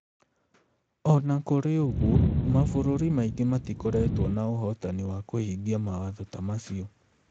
O na kũrĩ ũguo, mabũrũri mangĩ matikoretwo na ũhotani wa kũhingia mawatho ta macio.